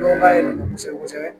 Dɔn k'a ye nin don kosɛbɛ kosɛbɛ